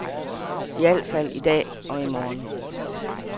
I al fald i dag og i morgen.